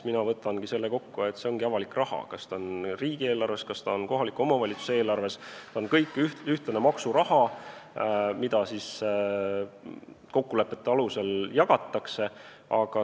Mina võtangi selle kokku nii, et see ongi avalik raha, ükskõik, kas see on riigieelarves või kohaliku omavalitsuse eelarves, see on kõik üks maksuraha, mida siis kokkulepete alusel jagatakse.